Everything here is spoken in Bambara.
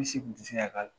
U si kun ti se ka k'a la